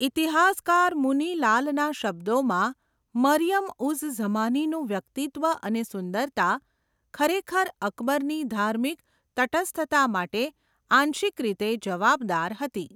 ઈતિહાસકાર મુની લાલના શબ્દોમાં, 'મરિયમ ઉઝ ઝમાનીનું વ્યક્તિત્વ અને સુંદરતા ખરેખર અકબરની ધાર્મિક તટસ્થતા માટે આંશિક રીતે જવાબદાર હતી.'